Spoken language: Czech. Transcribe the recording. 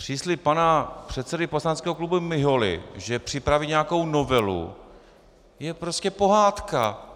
Příslib pana předsedy poslaneckého klubu Miholy, že připraví nějakou novelu, je prostě pohádka.